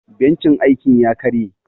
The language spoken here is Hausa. Bencin aikin ya karye.